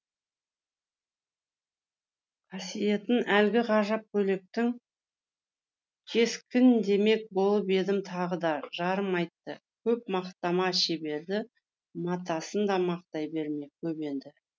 қасиетін әлгі ғажап көйлектің кескіндемек болып едім тағы да жарым айтты көп мақтама шеберді матасын да мақтай берме көп енді